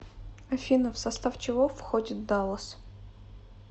афина в состав чего входит даллас